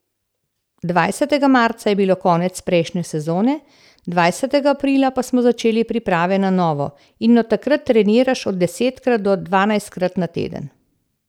Dvajsetega marca je bilo konec prejšnje sezone, dvajsetega aprila pa smo začeli priprave na novo, in od takrat treniraš od desetkrat do dvanajstkrat na teden.